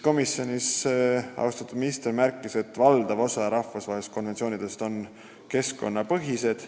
Austatud minister märkis, et valdav osa rahvusvahelistest konventsioonidest on keskkonnateemalised.